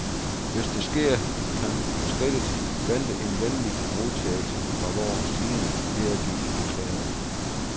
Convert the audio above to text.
Hvis det sker, kan skridtet vente en venlig modtagelse fra vor side, hedder det i erklæringen.